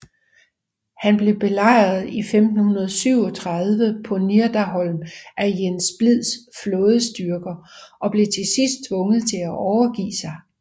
Han blev belejret i 1537 på Nidarholm af Jens Splids flådestyrker og blev til sidst tvunget til at overgive sig